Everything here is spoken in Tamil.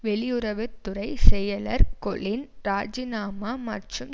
வெளியுறவு துறை செயலர் கொலின் ராஜிநாமா மற்றும்